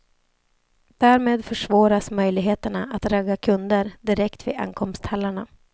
Därmed försvåras möjligheterna att ragga kunder direkt vid ankomsthallarna.